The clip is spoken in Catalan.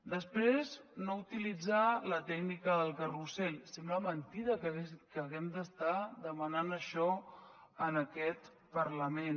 després no utilitzar la tècnica del carrusel sembla mentida que hàgim d’estar demanant això en aquest parlament